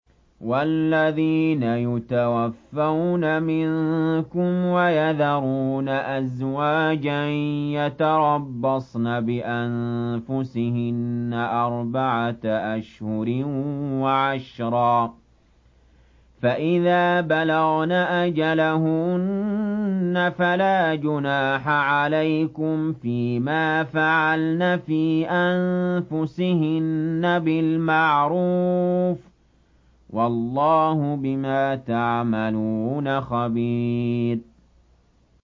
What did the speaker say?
وَالَّذِينَ يُتَوَفَّوْنَ مِنكُمْ وَيَذَرُونَ أَزْوَاجًا يَتَرَبَّصْنَ بِأَنفُسِهِنَّ أَرْبَعَةَ أَشْهُرٍ وَعَشْرًا ۖ فَإِذَا بَلَغْنَ أَجَلَهُنَّ فَلَا جُنَاحَ عَلَيْكُمْ فِيمَا فَعَلْنَ فِي أَنفُسِهِنَّ بِالْمَعْرُوفِ ۗ وَاللَّهُ بِمَا تَعْمَلُونَ خَبِيرٌ